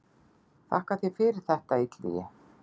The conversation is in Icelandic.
Þakka þér fyrir þetta Illugi.